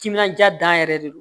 Timinandiya dan yɛrɛ de don